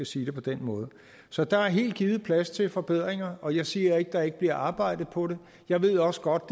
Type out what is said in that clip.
sige det på den måde så der er helt givet plads til forbedring og jeg siger ikke at der ikke bliver arbejdet på det jeg ved også godt